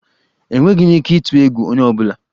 Enweghị m ike ịtụ egwu onye ọ bụla.